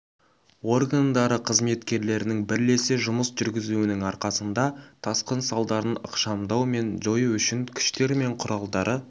органдары қызметкерлерінің бірлесе жұмыс жүргізуінің арқасында тасқын салдарын ықшамдау мен жою үшін күштер мен құралдары